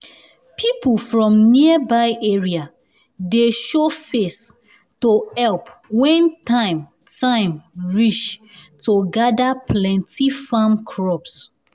people from nearby area dey show face to help when time time reach to gather plenty farm crops